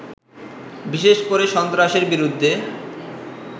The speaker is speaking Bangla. বিশেষ করে সন্ত্রাসের বিরুদ্ধে